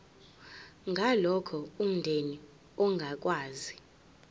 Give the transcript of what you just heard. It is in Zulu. ngalokho umndeni ongakwazi